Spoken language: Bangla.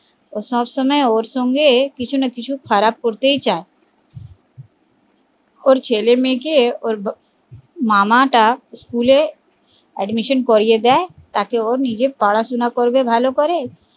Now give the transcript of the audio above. ও সব সময় ওর সঙ্গে কিছুনা কিছু খারাপ করতে চায় ওর ছেলে মেয়ে কে ওর মামা টা school এ admission করিয়ে দেয় তাতে ও নিজের পড়াশুনা করবে ভালো করে